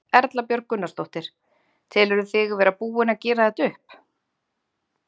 Erla Björg Gunnarsdóttir: Telurðu þig vera búinn að gera þetta upp?